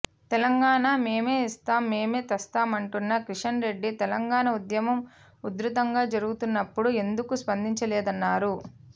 తెలంగాణ మేమే ఇస్తాం మేమే తెస్తా అంటున్న కిషన్ రెడ్డి తెలంగాణ ఉద్యమం ఉధృతంగా జరుగుతున్నప్పుడు ఎందుకు స్పందించలేదన్నారు